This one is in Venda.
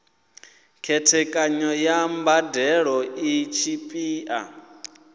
khethekanyo ya mbadelo i tshipiḓa